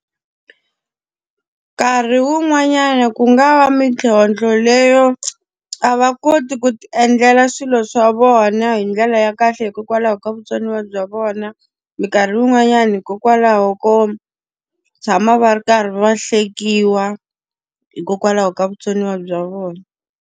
Nkarhi wun'wanyana ku nga va mintlhontlho leyo a va koti ku ti endlela swilo swa vona hi ndlela ya kahle hikokwalaho ka vutsoniwa bya vona, minkarhi yin'wanyani hikokwalaho ko tshama va ri karhi va hlekiwa hikokwalaho ka vutsoniwa bya vona.